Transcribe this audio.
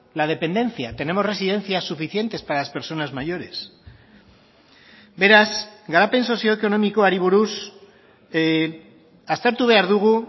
la dependencia tenemos residencias suficientes para las personas mayores beraz garapen sozioekonomikoari buruz aztertu behar dugu